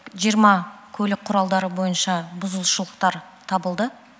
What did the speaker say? жиырма көлік құралдары бойынша бұзушылықтар табылды